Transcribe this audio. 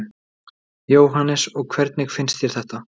Jóhannes: Og hvernig finnst þér þetta?